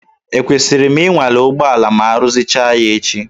Ekwesịrị m ịnwale ụgbọala ma aruzicha ya echi?